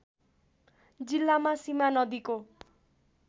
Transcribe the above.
जिल्लामा सीमा नदीको